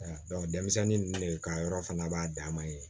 denmisɛnnin ninnu ne ka yɔrɔ fana b'a dan ma ye